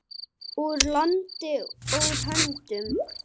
Úr landi, úr höndum.